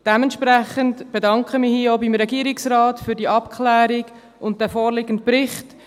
Dementsprechend bedanke ich mich hier auch beim Regierungsrat für die Abklärung und den vorliegenden Bericht.